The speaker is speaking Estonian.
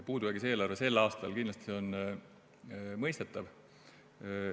Puudujäägis eelarve sel aastal on kindlasti mõistetav.